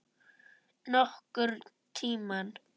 Nokkurn tímann.